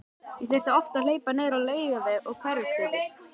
Ég þurfti oft að hlaupa niður á Laugaveg og Hverfisgötu.